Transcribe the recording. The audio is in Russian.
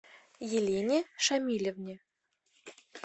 елене шамилевне